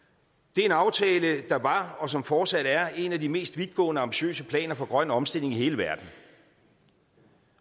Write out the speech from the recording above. det er en aftale der var og som fortsat er en af de mest vidtgående ambitiøse planer for grøn omstilling i hele verden